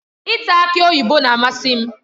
Ịta aki oyibo na-amasị m.